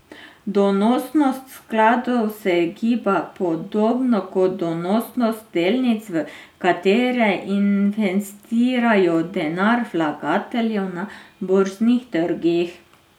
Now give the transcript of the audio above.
Donosnost skladov se giba podobno kot donosnost delnic, v katere investirajo denar vlagateljev, na borznih trgih.